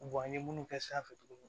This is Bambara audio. an ye minnu kɛ sanfɛ